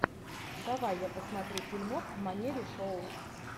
давай я посмотрю фильмок в манере шоу